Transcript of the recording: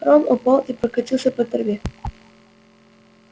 рон упал и покатился по траве